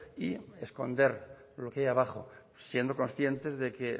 y esconder lo que hay abajo siendo conscientes de que